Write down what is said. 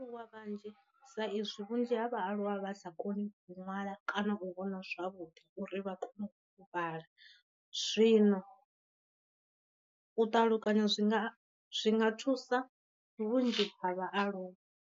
Wa vhanzhi sa izwi vhunzhi ha vhaaluwa vha sa koni u ṅwala kana u vhona zwavhuḓi uri vha kone u vhala, zwino u ṱalukanya zwi nga zwi nga thusa vhunzhi ha vhaaluwa.